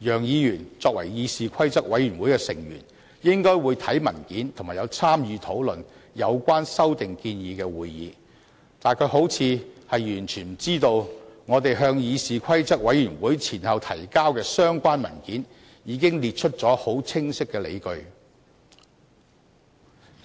楊議員作為議事規則委員會的委員，應該會看文件及參與討論有關修訂建議的會議，但他好像完全不知道我們先後向議事規則委員會提交的相關文件中，已列出很清晰的理據，而